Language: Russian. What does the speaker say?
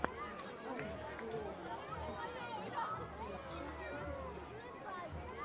ай лов суперспорт лучший эпизод